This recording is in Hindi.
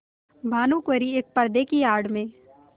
भानुकुँवरि एक पर्दे की आड़ में